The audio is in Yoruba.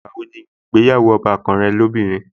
Ìgbà wo ni ìgbéyàwó ọbàkan rẹ lóbìnrin?